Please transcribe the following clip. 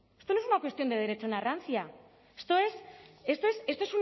esto no es una cuestión de derechona rancia esto es esto es esto